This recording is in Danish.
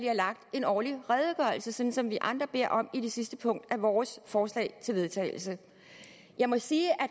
en årlig redegørelse sådan som vi andre beder om i det sidste punkt i vores forslag til vedtagelse jeg må sige at